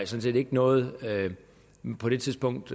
set ikke noget man på det tidspunkt